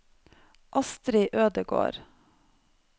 Astri Ødegård